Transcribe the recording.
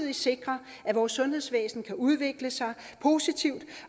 vi sikrer at vores sundhedsvæsen kan udvikle sig positivt